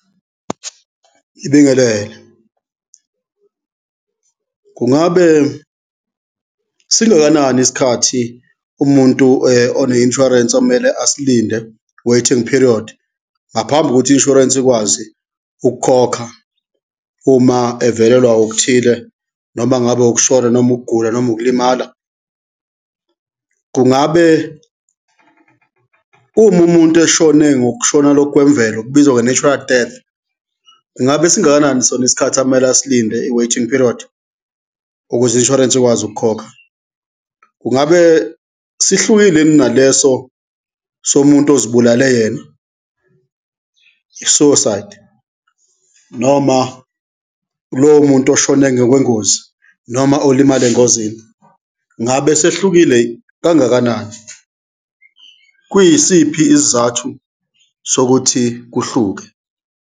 Ngibingelele, kungabe singakanani isikhathi umuntu one insurance ekumele asilinde, waiting period, ngaphambi kokuthi i-insurance ikwazi ukukhokha uma evelelwa okuthile, noma ngabe ukushona noma ukugula noma ukulimala? Kungabe uma umuntu eshone ngokushona lokhu kwemvelo, kubizwa nge-natural death, kungabe singakanani sona isikhathi akumele asilinde, i-waiting period, ukuze i-insurance ikwazi ukukhokha? Kungabe sihlukile yini naleso somuntu ozibulale yena, i-suicide noma lowo muntu oshone ngokwengozi noma olimale engozini, ngabe sehlukile kangakanani? Kuyisiphi isizathu sokuthi kuhluke?